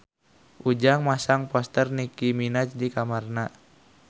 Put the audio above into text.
Ujang masang poster Nicky Minaj di kamarna